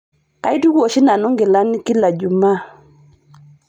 Kaituku oshi nanu ngilani kila jumaa.